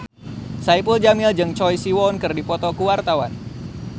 Saipul Jamil jeung Choi Siwon keur dipoto ku wartawan